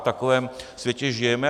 V takovém světě žijeme.